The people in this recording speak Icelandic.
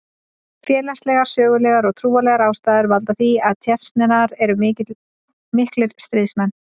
Félagslegar, sögulegar og trúarlegar ástæður valda því að Tsjetsjenar eru miklir stríðsmenn.